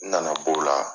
N nana b'o la